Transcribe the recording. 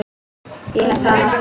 Ég hef talað